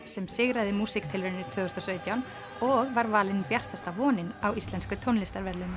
sem sigraði músíktilraunir tvö þúsund og sautján og var valin bjartasta vonin á íslensku tónlistarverðlaununum